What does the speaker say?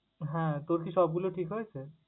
হ্যাঁ, তোর কি সবগুলো ঠিক হয়েছে?